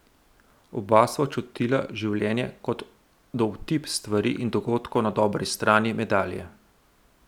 Oba sva čutila življenje kot dovtip stvari in dogodkov na dobri strani medalje.